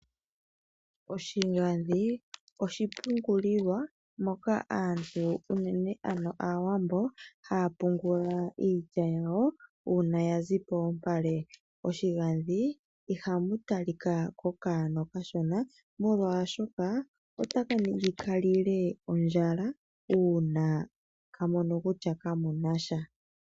Oshigandhi oshipungulilwa moka aantu unene aawambo haya pungula iilya yawo uuna yazi polupale. Moshigandhi ihamu talika kokanona okashona molwaashoka otaka ningi ka lile ondjala uuna ka mono kutya ka muna sha.